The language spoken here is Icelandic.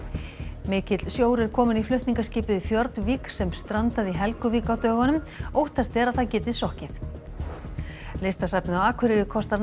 mikill sjór er kominn í flutningaskipið sem strandaði í Helguvík á dögunum óttast er að það geti sokkið listasafnið á Akureyri kostar nær